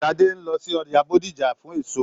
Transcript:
Sadé n lọ sí ọjà Bódìjà fún èso.